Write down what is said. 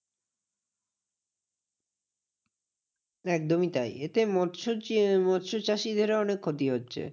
একদমই তাই এতে মৎসচাষীদেরও অনেক ক্ষতি হচ্ছে।